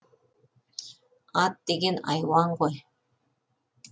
ат деген айуан ғой